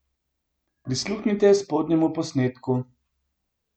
Prisluhnite spodnjemu posnetku!